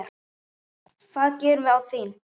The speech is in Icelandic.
Hvað gerum við án þín?